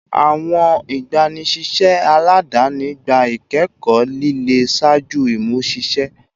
Awọn igbanisiṣẹ aladani gba ikẹkọ lile ṣaaju imuṣiṣẹ